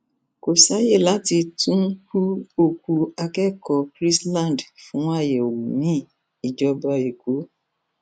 kò sáàyè láti tún hu òkú akẹkọọ chrisland fún àyẹwò miin ìjọba ẹkọ